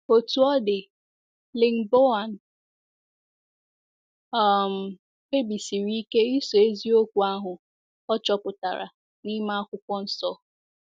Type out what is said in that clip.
Otú ọ dị, Lingbaoan um kpebisiri ike ịso eziokwu ahụ ọ chọpụtara n’ime Akwụkwọ Nsọ.